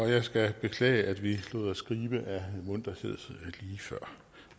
jeg skal beklage at vi lod os gribe af munterhed lige før